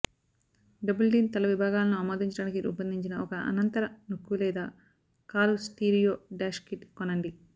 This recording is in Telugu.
డబుల్ డీన్ తల విభాగాలను ఆమోదించడానికి రూపొందించిన ఒక అనంతర నొక్కు లేదా కారు స్టీరియో డాష్ కిట్ కొనండి